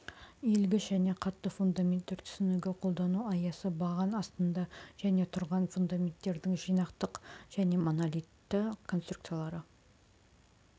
иілгіш және қатты фундаменттер түсінігі қолдану аясы баған астында жеке тұрған фундаменттердің жинақтық және монолитті конструкциялары